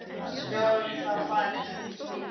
Skal þá farið eftir slíkum fyrirmælum.